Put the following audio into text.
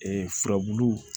Ee furabulu